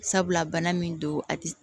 Sabula bana min don a ti